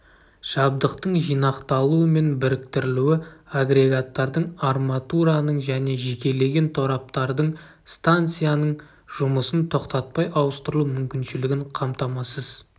жабдықтың жинақталуы мен біріктірілуі агрегаттардың арматураның және жекелеген тораптардың станцияның жұмысын тоқтатпай ауыстырылу мүмкіншілігін қамтамасыз